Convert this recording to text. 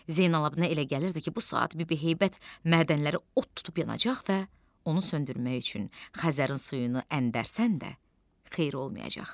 Zeynallabdinə elə gəlirdi ki, bu saat bibi heybət mədənləri od tutub yanacaq və onu söndürmək üçün Xəzərin suyunu əndərsən də xeyir olmayacaq.